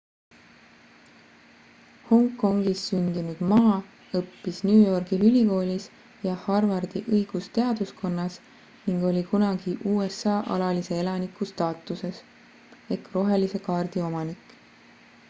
hongkongis sündinud ma õppis new yorgi ülikoolis ja harvardi õigusteaduskonnas ning oli kunagi usa alalise elaniku staatuses rohelise kaardi omanik